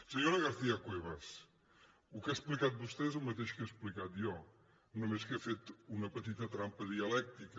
senyora garcia cuevas el que ha explicat vostè és el mateix que he explicat jo només que ha fet una petita trampa dialèctica